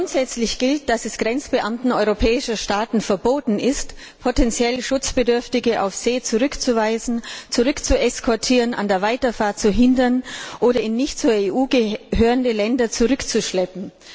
Grundsätzlich gilt, dass es Grenzbeamten europäischer Staaten verboten ist, potentiell Schutzbedürftige auf See zurückzuweisen, zurückzueskortieren, an der Weiterfahrt zu hindern oder in nicht zur EU gehörende Länder zurückzuschleppen.